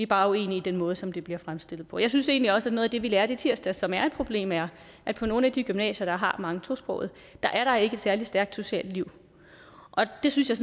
bare uenige i den måde som det bliver fremstillet på jeg synes egentlig også at noget af det vi lærte i tirsdags som er et problem er at på nogle af de gymnasier der har mange tosprogede er der ikke noget særlig stærkt socialt liv og det synes jeg